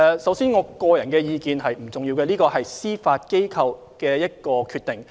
首先，我的個人意見並不重要，這是司法機構的決定。